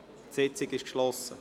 Die Sitzung ist geschlossen.